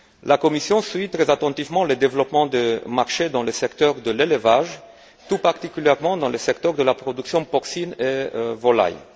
La Commission suit très attentivement les développements du marché dans le secteur de l'élevage, et plus particulièrement dans le secteur de la production porcine et des volailles.